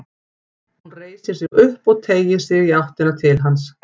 Hún reisir sig upp og teygir sig í áttina til hans.